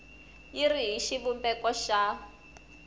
yi ri hi xivumbeko xa